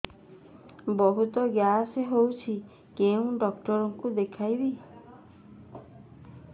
ବହୁତ ଗ୍ୟାସ ହଉଛି କୋଉ ଡକ୍ଟର କୁ ଦେଖେଇବି